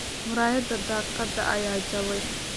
Muraayadaha daaqada ayaa jabay.